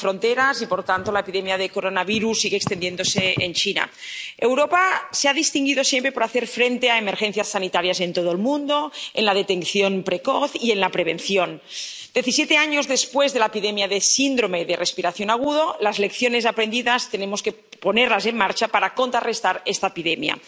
Señor presidente, las epidemias y los virus no entienden de fronteras y, por tanto, la epidemia de coronavirus sigue extendiéndose en China. Europa se ha distinguido siempre por hacer frente a emergencias sanitarias en todo el mundo, en la detección precoz y en la prevención. Diecisiete años después de la epidemia de síndrome de respiración agudo, las lecciones aprendidas tenemos que ponerlas en marcha para contrarrestar esta epidemia.